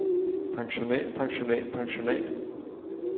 pensionat pensionat pensionat